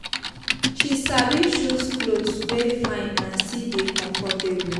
she sabi choose cloth wey fine and still dey comfortable